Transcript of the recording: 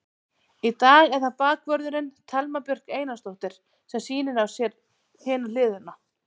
Í dag er það bakvörðurinn, Thelma Björk Einarsdóttir sem sýnir á sér hina hliðina.